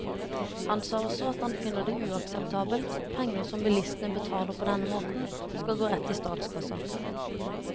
Han sa også at han finner det uakseptabelt at penger som bilistene betaler på denne måten, skal gå rett i statskassen.